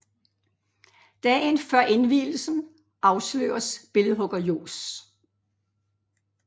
Dagen før indvielsen afsløres billedhugger Johs